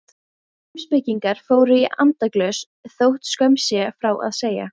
Heimspekingar fóru í andaglös þótt skömm sé frá að segja.